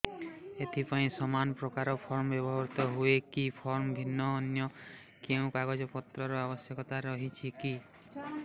ଏଥିପାଇଁ ସମାନପ୍ରକାର ଫର୍ମ ବ୍ୟବହୃତ ହୂଏକି ଫର୍ମ ଭିନ୍ନ ଅନ୍ୟ କେଉଁ କାଗଜପତ୍ରର ଆବଶ୍ୟକତା ରହିଛିକି